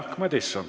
Jaak Madison.